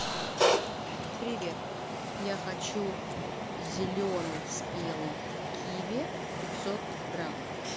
привет я хочу зеленый спелый киви пятьсот грамм